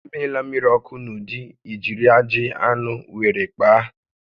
Emela mmiri ọkụ n'ụdị ijiri ajị anụ were kpaa